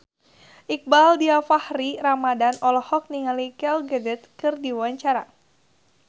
Iqbaal Dhiafakhri Ramadhan olohok ningali Gal Gadot keur diwawancara